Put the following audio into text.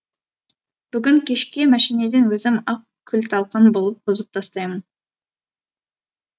бүгін кешке мәшинеден өзім ақ күл талқан қылып бұзып тастаймын